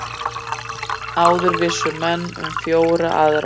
Áður vissu menn um fjórar aðrar